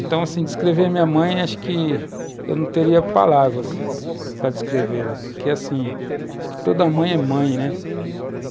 Então, assim, descrever minha mãe, acho que eu não teria palavras para descrevê-la, porque, assim, acho que toda mãe é mãe, né?